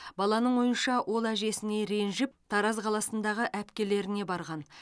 баланың ойынша ол әжесіне ренжіп тараз қаласындағы әпкелеріне барған